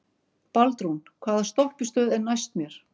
Baldrún, hvaða stoppistöð er næst mér?